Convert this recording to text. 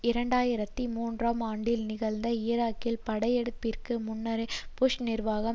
இரண்டு ஆயிரத்தி மூன்றாம் ஆண்டில் நிகழ்ந்த ஈராக்கிய படையெடுப்பிற்கு முன்னரே புஷ் நிர்வாகம்